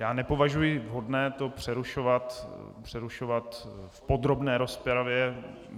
Já nepovažuji vhodné to přerušovat v podrobné rozpravě.